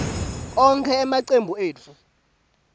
onkhe emacembu etfu